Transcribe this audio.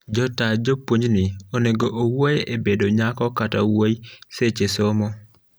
jotaa jopuonj ni onego owuoye e bedo nyako kata wuoyi seche somo